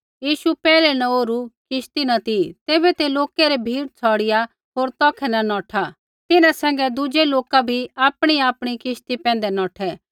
यीशु पैहलै न ओरु किश्ती न ती तैबै ते लोकै री भीड़ छ़ौड़िआ होर तौखै न नौठा तिन्हां सैंघै दुज़ै लोका भी आपणीआपणी किश्ती पैंधै नौठै